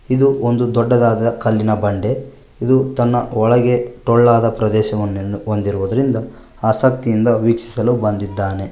ಇದು ಒಂದು ದೊಡ್ಡದಾದ ಕಲ್ಲಿನ ಬಂಡೆ ಇದು ತನ್ನ ಒಳಗೆ ಟೋಳ್ಳಾದ ಪ್ರದೇಶವನ್ನು ಹೊಂದಿರುವುದರಿಂದ ಆಸಕ್ತಿಯಿಂದ ವೀಕ್ಷಿಸಲು ಬಂದಿದ್ದಾನೆ.